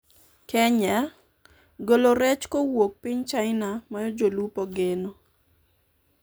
Kenya:golo rech kowuok piny china mayo jolupo geno